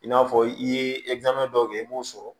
I n'a fɔ i ye dɔw kɛ i b'o sɔrɔ